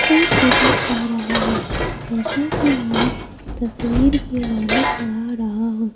साफ नजर आ रहा है जैशा कि मानो तस्वीर की रौनक बढ़ा रहा हो।